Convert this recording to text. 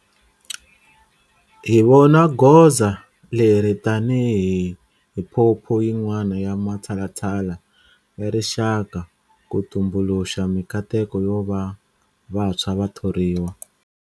Hi vona goza leri tanihi phuphu yin'wana ya matshalatshala ya rixaka ku tumbuluxa mikateko yo va vantshwa va thoriwa.